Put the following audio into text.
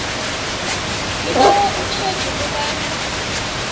sibawa utjheje kobana